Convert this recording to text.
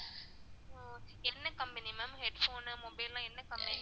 என்ன company ma'am headphone னு mobile லாம் என்ன company